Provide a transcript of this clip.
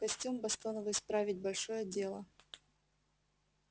костюм бостоновый справить большое дело